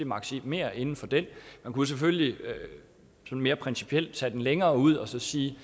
maksimerer inden for den man kunne selvfølgelig mere principielt tage den længere ud og sige